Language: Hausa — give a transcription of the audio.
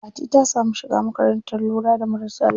Fati ta samu shiga makarantar lura da marasa lafiya.